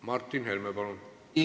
Martin Helme, palun!